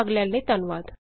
ਭਾਗ ਲੈਣ ਲਈ ਧੰਨਵਾਦ